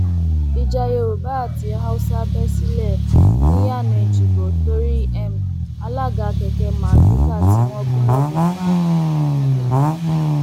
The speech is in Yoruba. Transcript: ìjà yorùbá àti haúsá bẹ sílẹ niyànà èjìgbò torí um alága kẹkẹ mardukà tí wọn gún lọbẹ pa um